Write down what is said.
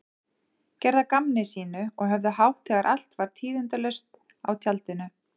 Gerðu að gamni sínu og höfðu hátt þegar allt var tíðindalaust á tjaldinu.